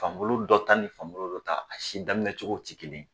Fan bolo dɔ ta ni fan bolo dɔ ta , a si daminɛ cogo ti kelen ye.